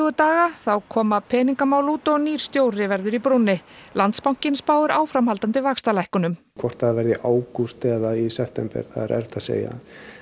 daga þá koma peningamál út og nýr stjóri verður í brúnni Landsbankinn spáir áframhaldandi vaxtalækkunum hvort það verður í ágúst eða september er erfitt að segja